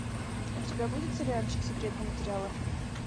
у тебя будет сериальчик секретные материалы